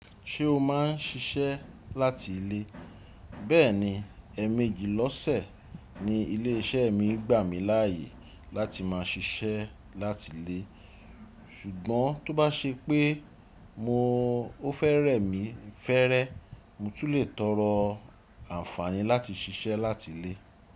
Ṣé o máa ń ṣiṣẹ́ láti ilé? Bẹ́ẹ̀ni, ẹmẹ̀éjì lọ́sẹ̀ ni ilé iṣẹ́ mi gbà mí láàyè láti máa ṣiṣẹ́ láti ilé. Ṣùgbọ́n tó bá ṣe pé mo ó fẹ́ rẹ̀mi fẹ́rẹ́, mo tún le tọrọ àǹfààní láti ṣiṣẹ́ láti ilé.